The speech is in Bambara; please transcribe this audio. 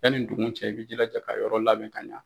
Yanni ndugun cɛ i bɛ i jilaja ka yɔrɔ labɛn ka ɲɛ.